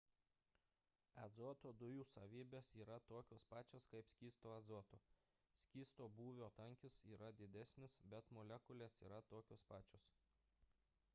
azoto dujų savybės yra tokios pačios kaip skysto azoto skysto būvio tankis yra didesnis bet molekulės yra tokios pačios